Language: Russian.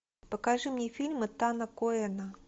покажи мне фильм этана коэна